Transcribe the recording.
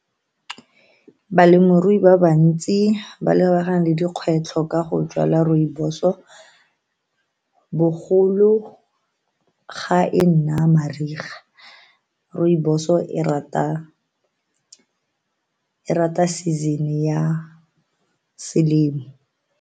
Balemirui ba bantsi ba lebagane le dikgwetlho ka go jwala rooibos bogolo ga e nna mariga rooibos-o e rata season-e ya selemo.